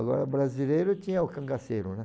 Agora, brasileiro tinha o Cangaceiro, né?